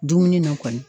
Dumuni na kɔni